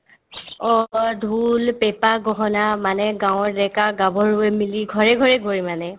অ অ ঢোল পেপা গহনা মানে গাঁৱৰ ডেকা-গাভৰুয়ে মিলি ঘৰে ঘৰে গৈ মানে